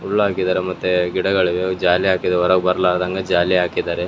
ಹುಲ್ಲ್ ಹಾಕಿದಾರೆ ಮತ್ತೆ ಗಿಡಗಳಿಗೆ ಜಾಲಿ ಹಾಕಿದೆ ಹೊರಬರಲಾರ್ದಂಗ ಜಾಲಿ ಹಾಕಿದ್ದಾರೆ.